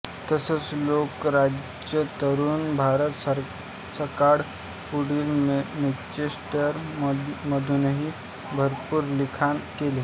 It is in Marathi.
तसंच लोकराज्य तरुण भारत सकाळ पुढारी मँचेस्टर मधूनही भरपूर लिखाण केले